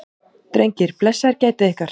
Drengir, blessaðir gætið ykkar.